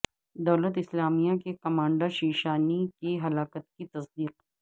دولت اسلامیہ کے کمانڈر شیشانی کی ہلاکت کی تصدیق